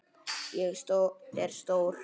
Ég er stór.